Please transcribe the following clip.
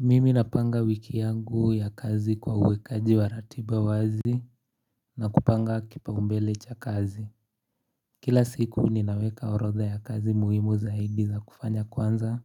Mimi napanga wiki yangu ya kazi kwa uwekaji wa ratiba wazi na kupanga kipaumbele cha kazi Kila siku ninaweka orodha ya kazi muhimu zaidi za kufanya kwanza